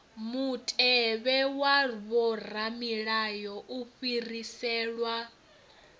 mutevhe wa vhoramilayo u fhiriselwa